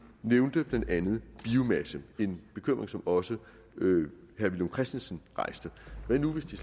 nævnte blandt andet biomasse det er en bekymring som også herre villum christensen rejste hvad nu hvis det